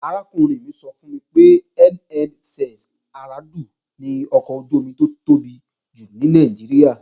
Arákùnrin mi sọ fún mi pé NNS Aradu ni ọkọ̀ ojú-omi tó tóbi jù ní Nàìjíríà